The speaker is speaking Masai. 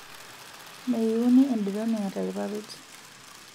meiuni ederoni etaa irpapit